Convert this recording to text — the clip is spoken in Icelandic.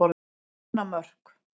Mánamörk